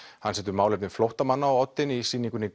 hann setur málefni flóttamanna á oddinn í sýningunni